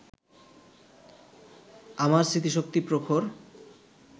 আমার স্মৃতিশক্তি প্রখর